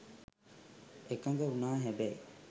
එකඟ වුණා හැබැයි